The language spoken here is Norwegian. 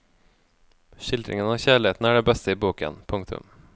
Skildringen av kjærligheten er det beste i boken. punktum